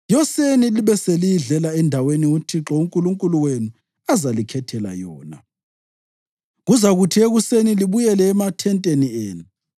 Yoseni libe seliyidlela endaweni uThixo uNkulunkulu wenu azalikhethela yona. Kuzakuthi ekuseni libuyele emathenteni enu.